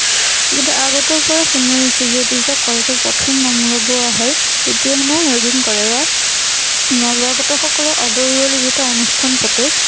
কিন্তু আগতৰে পৰা শুনি আহিছোঁ, কিন্তু যেতিয়া কলেজত প্ৰথম নাম লগোৱা হল, তেতিয়া হেনো এদিন কলেজত নৱাগত সকলো আদৰণিৰ যিটো অনুষ্ঠান পাতে,